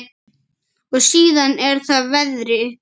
Og síðan er það veðrið.